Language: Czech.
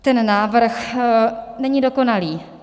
Ten návrh není dokonalý.